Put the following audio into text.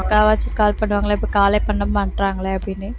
அக்காவாச்சும் call பண்ணுவாங்களே இப்போ call ஏ பண்ணமாட்டேன்றாங்களே அப்படின்னு